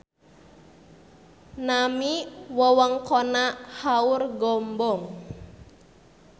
Nami wewengkonna Haurgombong